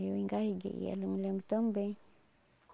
Eu engasguei ela, me lembro tão bem.